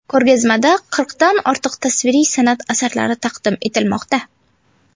Ko‘rgazmada qirqdan ortiq tasviriy san’at asarlari taqdim etilmoqda.